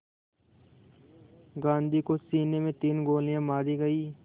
गांधी को सीने में तीन गोलियां मारी गईं